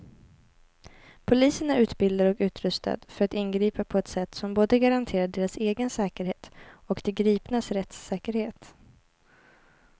Polisen är utbildad och utrustad för att ingripa på ett sätt som både garanterar deras egen säkerhet och de gripnas rättssäkerhet.